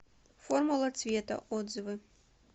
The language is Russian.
формула цвета отзывы